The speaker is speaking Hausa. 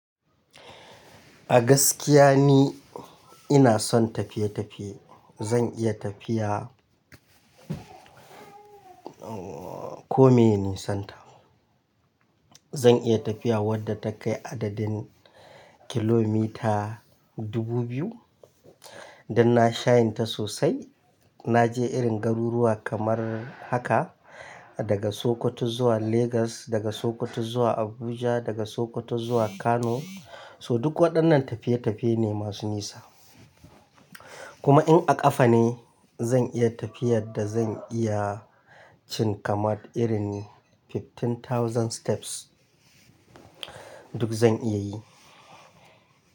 A gaskiya ne ina son tafiye-tafiye. Zan iya tafiya, ko meye nisan ta. Zan iya tafiya wadda ta kai adadin kilometer 2000. Dan na shayin ta sosai. Na je irin garuruwa kamar haka daga Sokoto zuwa Lagos, daga Sokoto zuwa Abuja, daga Sokoto zuwa Kano. So duk waɗannan tafiye-tafiye ne masu nisa. Kuma in a ƙafa ne zan iya tafiyar da zan iya cin kamar irin 15,000 steps. Duk zan iya yi.